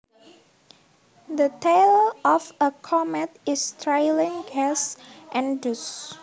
The tail of a comet is trailing gas and dust